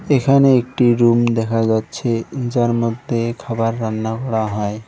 এখানে একটি রুম দেখা যাচ্ছে যার মধ্যে খাবার রান্না করা হয়।